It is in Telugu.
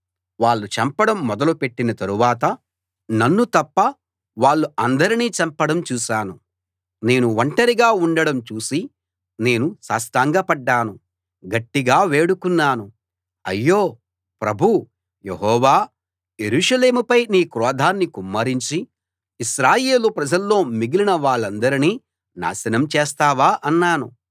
వాళ్ళు చంపడం మొదలు పెట్టిన తరువాత నన్ను తప్ప వాళ్ళు అందరినీ చంపడం చూశాను నేను ఒంటరిగా ఉండటం చూసి నేను సాష్టాంగ పడ్డాను గట్టిగా వేడుకున్నాను అయ్యో ప్రభూ యెహోవా యెరూషలేముపై నీ క్రోధాన్ని కుమ్మరించి ఇశ్రాయేలు ప్రజల్లో మిగిలిన వాళ్ళందరినీ నాశనం చేస్తావా అన్నాను